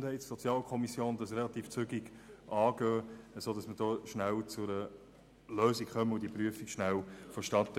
der GSoK relativ zügig anzugehen, sodass wir schnell zu einer Lösung kommen.